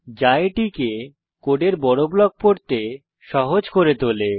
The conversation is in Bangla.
যা এটিকে কোডের বড় ব্লক পড়তে সহজ করে তোলে